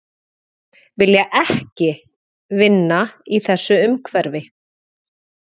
Vilja ekki vinna í þessu umhverfi